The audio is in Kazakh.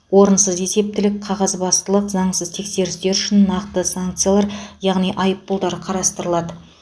орынсыз есептілік қағазбастылық заңсыз тексерістер үшін нақты санкциялар яғни айыппұлдар қарастырылады